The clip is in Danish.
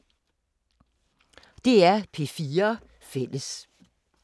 DR P4 Fælles